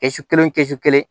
Kɛsu kelen kɛsu kelen